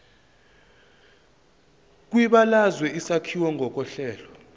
kwibalazwe isakhiwo ngokohlelo